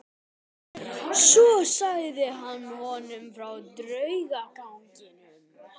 Svo sagði hann honum frá draugaganginum.